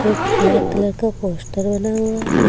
एक black colour का poster बना हुआ है।